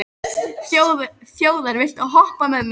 Þjóðar, viltu hoppa með mér?